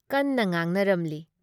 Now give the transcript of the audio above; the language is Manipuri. ꯀꯟꯅ ꯉꯥꯡꯅꯔꯝꯂꯤ ꯫